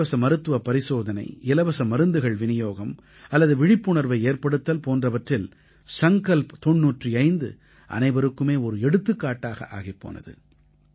இலவச மருத்துவப் பரிசோதனை இலவச மருந்துகள் விநியோகம் அல்லது விழிப்புணர்வை ஏற்படுத்தல் போன்றவற்றில் சங்கல்ப் தொண்ணூற்று ஐந்து அனைவருக்குமே ஒரு எடுத்துக்காட்டாக ஆகிப் போனது